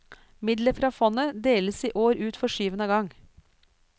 Midler fra fondet deles i år ut for syvende gang.